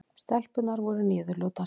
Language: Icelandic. Stelpurnar voru niðurlútar.